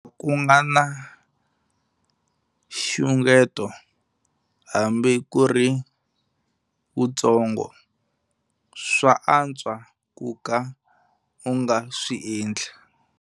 Ku nga na nxungeto, hambi ku ri wuntsongo, swa antswa ku ka u nga swi endli.